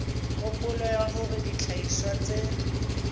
kgopolo ya hore dihlahiswa tse